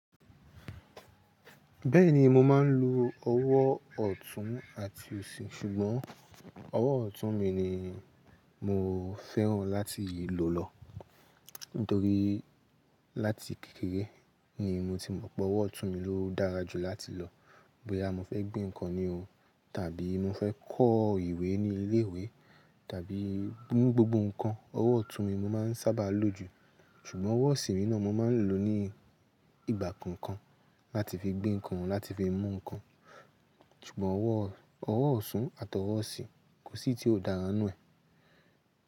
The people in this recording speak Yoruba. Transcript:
Bẹ́ẹ̀ni mo máa ń lo ọwọ́ ọ̀tún àti òsì, ṣùgbọ́n ọwọ́ ọ̀tún mi ni mo fẹ́ràn láti lò lọ. Nítorí láti kékeré ni mo ti mọ̀ pé ọwọ́ ọ̀tún mi ló dára jù láti lọ. Boya mọ́ fẹ́ gbé nǹkan ní o tàbí mo fẹ́ kọ ìwé ní ilé ìwé tàbí mú gbogbo nǹkan, ọwọ́ ọ̀tún mi mo máa ń sábà lò jù. Ṣùgbọ́n ọwọ́ òsì mi náà mo máa ń lò ní ìgbà kọ̀ọ̀kan láti fi gbé nǹkan, láti fi mú nǹkan. Ṣùgbọ́n ọwọ́, ọwọ́ ọ̀tún àti ọwọ́ òsì kò sí tí ó dára nù ẹ.